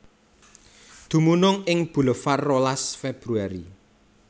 Dumunung ing Bulevar rolas Februari